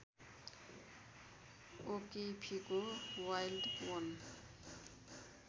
ओकिफीको wild वन